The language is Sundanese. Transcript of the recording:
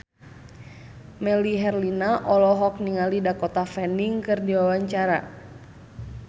Melly Herlina olohok ningali Dakota Fanning keur diwawancara